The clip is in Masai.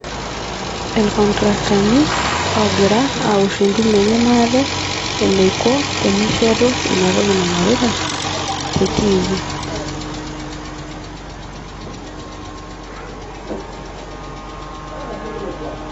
ilcontractani ogira aosh entumo enye maate eneiko teneshetu ina toki naingorita te tv